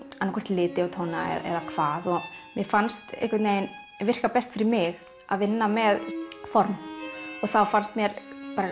liti og tóna eða hvað en mér fannst virka best fyrir mig að vinna með form og þá fannst mér